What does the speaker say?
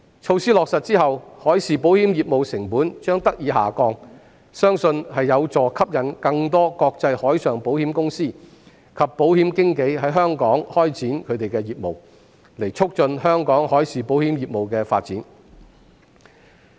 措施落實後，海事保險業務成本將得以下降，相信有助吸引更多國際海上保險公司及保險經紀在香港開展業務，以促進香港海事保險業務的發展。